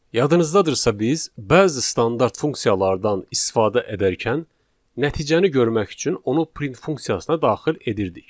Yadınızdadırsa biz bəzi standart funksiyalardan istifadə edərkən nəticəni görmək üçün onu print funksiyasına daxil edirdik.